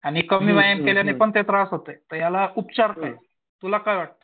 आणि कमी व्यायाम केल्याने पण ते त्रास होतोय तर याला उपचार काय? तुला काय वाटतं?